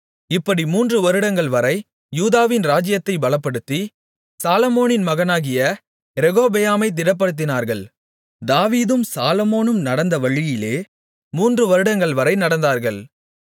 இப்படி மூன்று வருடங்கள்வரை யூதாவின் ராஜ்ஜியத்தைப் பலப்படுத்தி சாலொமோனின் மகனாகிய ரெகொபெயாமைத் திடப்படுத்தினார்கள் தாவீதும் சாலொமோனும் நடந்த வழியிலே மூன்று வருடங்கள்வரை நடந்தார்கள்